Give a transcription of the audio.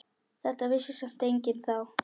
Þetta vissi samt enginn þá.